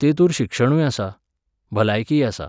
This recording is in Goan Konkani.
तेतूंर शिक्षणूय आसा, भलायकीय आसा.